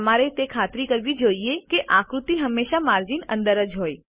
તમારે તે ખાતરી કરવી જોઈએ કે આકૃતિઓ હંમેશા માર્જિન અંદર હોય છે